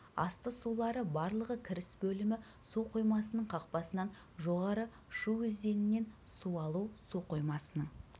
асты сулары барлығы кіріс бөлімі су қоймасының қақпасынан жоғары шу өзенінен су алу су қоймасының